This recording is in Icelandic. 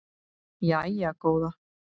Jæja góða